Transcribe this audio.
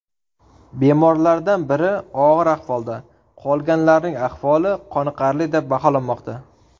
Bemorlardan biri og‘ir ahvolda, qolganlarning ahvoli qoniqarli deb baholanmoqda.